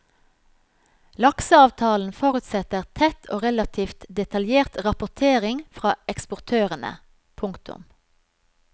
Lakseavtalen forutsetter tett og relativt detaljert rapportering fra eksportørene. punktum